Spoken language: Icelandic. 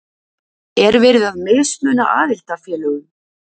Er verið að mismuna aðildarfélögum?